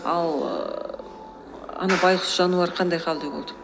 ал ііі ана байғұс жануар қандай халде болды